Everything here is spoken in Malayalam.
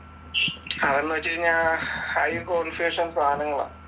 അതെന്ന് വെച്ചുകഴിഞ്ഞാൽ ഹൈ കോണ്ഫിഗറേഷൻ സാധനങ്ങളാ